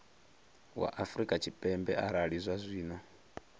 wa afrika tshipembe arali zwazwino